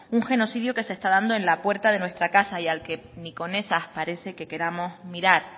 un genocidio que se está dando en la puerta de nuestra casa y al que ni con esas parece que queramos mirar